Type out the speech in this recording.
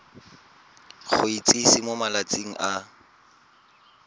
go itsise mo malatsing a